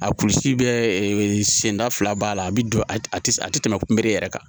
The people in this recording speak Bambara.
A kulusi bɛ senda fila b'a la a bɛ don a tɛ a tɛ tɛmɛ kunbe yɛrɛ kan